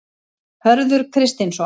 Hörður Kristinsson.